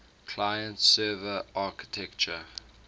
client server architecture